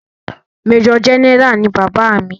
Major general ni bàbá mi.